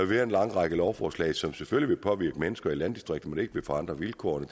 være en lang række lovforslag som selvfølgelig vil påvirke mennesker i landdistrikterne men ikke vil forandre vilkårene